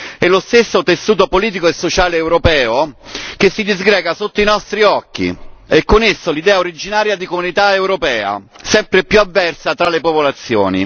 E lo stesso tessuto politico e sociale europeo che si disgrega sotto i nostri occhi e con esso l'idea originaria di Comunità europea, sempre più avversa tra le popolazioni.